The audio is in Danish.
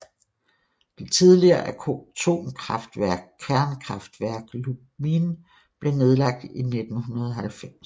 Det tidligere atomkraftværk Kernkraftwerk Lubmin blev nedlagt i 1990